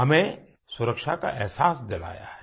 हमें सुरक्षा का अहसास दिलाया है